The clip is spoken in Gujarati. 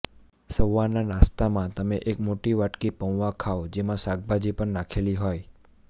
સવારના નાસ્તામાં તમે એક મોટી વાટકી પૌવા ખાવ જેમાં શાકભાજી પણ નાખેલી હોય